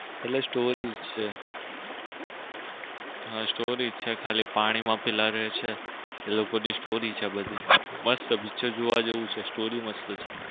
એટલે story જ છે હા story જ છે ખાલી પાણી માં પેલા રે છે એ લોકો ની story છે આ બધી મસ્ત picture જોવા જેવું છે story મસ્ત છે એટલે story જ છે.